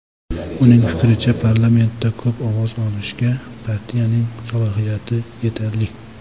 Uning fikricha, parlamentda ko‘p ovoz olishga partiyaning salohiyati yetarli.